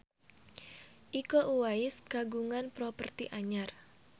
Iko Uwais kagungan properti anyar